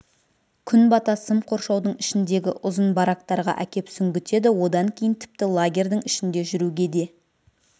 күн бата сым қоршаудың ішіндегі ұзын барактарға әкеп сүңгітеді одан кейін тіпті лагерьдің ішінде жүруге де